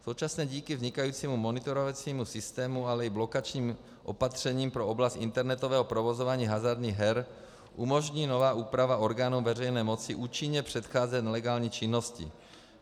Současně díky vznikajícímu monitorovacímu systému, ale i blokačním opatřením pro oblast internetového provozování hazardních her umožní nová úprava orgánům veřejné moci účinně předcházet nelegální činnosti.